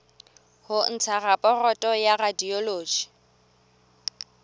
ho ntsha raporoto ya radiology